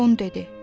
Bon dedi.